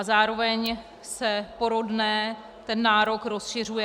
A zároveň se porodné, ten nárok, rozšiřuje -